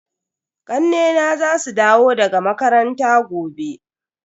Ƙannena za su dawo daga makaranta gobe.